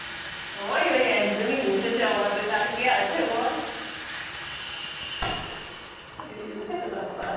ওই ওই একজনই বেচেঁছে আমাদের আর কে আছে বল? এই হচ্ছে ব্যাপার।